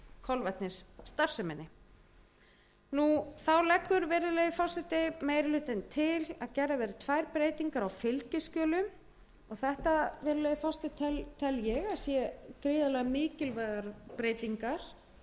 eftirlits með kolvetnisstarfseminni þá leggur virðulegi forseti meiri hlutinn til að gerðar verði tvær breytingar á fylgiskjölum og þetta virðulegi forseti tel ég að séu gríðarlega mikilvægar breytingar við lög